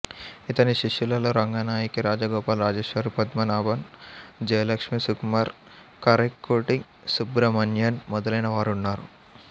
ఇతని శిష్యులలో రంగనాయకి రాజగోపాల్ రాజేశ్వరీ పద్మనాభన్ జయలక్ష్మి సుకుమార్ కారైక్కుడి సుబ్రహ్మణ్యన్ మొదలైన వారున్నారు